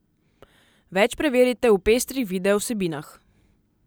Več preverite v pestrih video vsebinah!